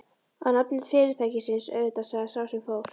Á nafni fyrirtækisins, auðvitað sagði sá sem fór.